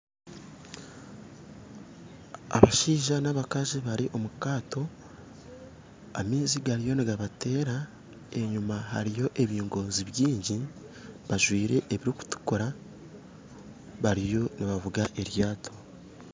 Abashaija n'abakazi bari omu kaato amaizi gariyo nigabateera enyima hariyo ebingoozi baingi bajwire ebirikutukuura bariyo nibavuga eryato